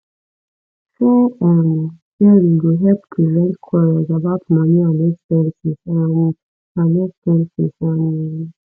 fair um sharing go help prevent quarrels about money and expenses um and expenses um